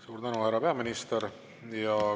Suur tänu, härra peaminister!